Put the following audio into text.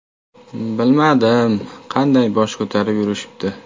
Bilmadim, qanday bosh ko‘tarib yurishibdi.